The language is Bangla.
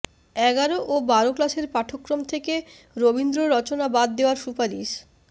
এগারো ও বারো ক্লাসের পাঠ্যক্রম থেকে রবীন্দ্র রচনা বাদ দেওয়ার সুপারিশ